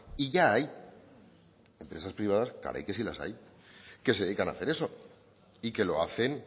y ya hay empresas privadas caray que si las hay que se dedican a hacer eso y que lo hacen